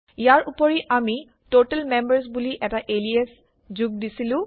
ইয়াৰ উপৰি আমি total members বুলি এটা এলিয়াচ যোগ দিছিলো